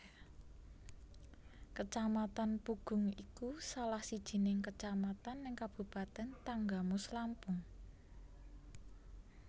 Kecamatan Pugung iku salah sijining kecamatan neng kabupaten Tanggamus Lampung